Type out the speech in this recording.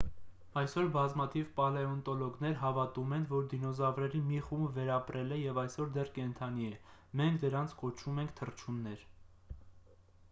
այսօր բազմաթիվ պալեոնտոլոգներ հավատում են որ դինոզավրերի մի խումբ վերապրել է և այսօր դեռ կենդանի է մենք դրանց կոչում ենք թռչուններ